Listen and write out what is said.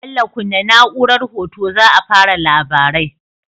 Bello kunna na'urar hoto za a fara labarai